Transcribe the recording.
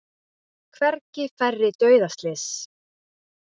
Hvergi færri dauðaslys